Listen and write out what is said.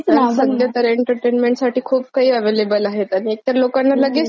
खूप काही अव्हेलेबल आहे एकतर लोकांना लगेच सगळं पाहिजे असत आता हे unintelligible पण!